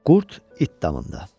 Qurd it damında.